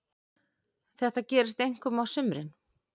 Þetta gerist einkum á sumrin.